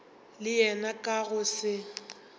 le yena ka go se